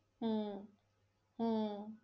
हम्म हम्म